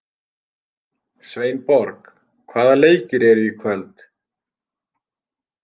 Sveinborg, hvaða leikir eru í kvöld?